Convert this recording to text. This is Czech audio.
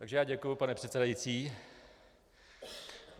Takže já děkuji, pane předsedající.